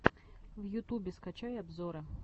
в ютубе скачай обзоры